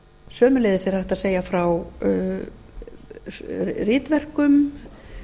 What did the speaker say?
sömuleiðis er hægt að segja frá ritverkum